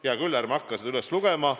Hea küll, ärme hakkame seda üles lugema.